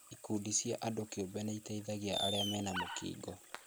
Ikundi cia andũ kĩũmbe nĩitethagia arĩa mena mũkingo